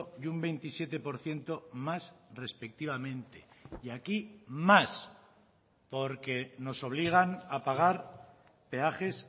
y un veintisiete por ciento más respectivamente y aquí más porque nos obligan a pagar peajes